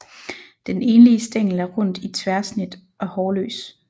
Den enlige stængel er rund i tværsnit og hårløs